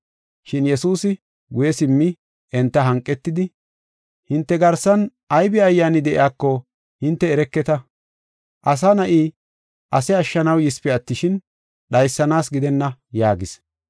Shin Yesuusi guye simmi enta hanqetidi, “Hinte garsan aybi ayyaani de7iyako hinte ereketa. Asa Na7i ase ashshanaw yisipe attishin, dhaysanaasa gidenna” yaagis.